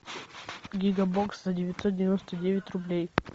гигабокс за девятьсот девяносто девять рублей